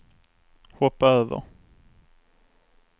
hoppa över